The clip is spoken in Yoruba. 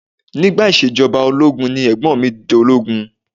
Nígbà ìṣèjọba ológun ni Ẹ̀gbọ́n mi dológun